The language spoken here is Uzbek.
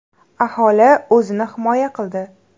Aholi o‘zini himoya qildi.